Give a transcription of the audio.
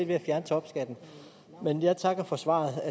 ved at fjerne topskatten men jeg takker for svaret